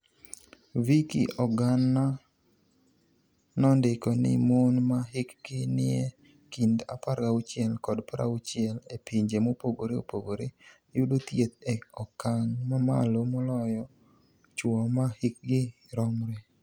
VICKY OGAniA nonidiko nii moni ma hikgi niie kinid 16 kod 60 e pinije mopogore opogore, yudo thieth e okanig' mamalo moloyo chwo ma hikgi romre.